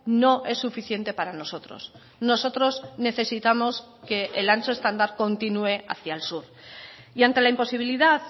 no es suficiente para nosotros nosotros necesitamos que el ancho estándar continúe hacia el sur y ante la imposibilidad